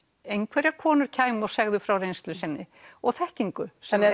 einhverjar konur kæmu og segðu frá reynslu sinni og þekkingu sem